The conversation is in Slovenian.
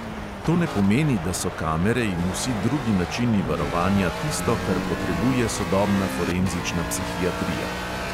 To ne pomeni, da so kamere in vsi drugi načini varovanja tisto, kar potrebuje sodobna forenzična psihiatrija.